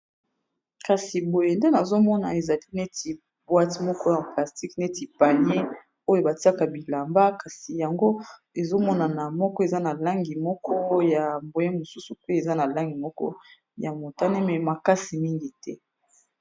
kasi boye nde nazomona ezali neti bwite moko ya plastique neti panier oyo batiaka bilamba kasi yango ezomonana moko eza na langi moko o ya boye mosusu pe eza na langi moko ya motane me makasi mingi te